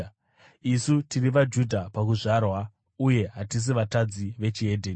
“Isu tiri vaJudha pakuzvarwa uye hatisi vatadzi ve‘Dzimwe Ndudzi’